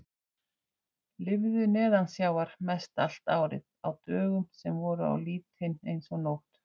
Lifðu neðansjávar mestallt árið, á dögum sem voru á litinn eins og nótt!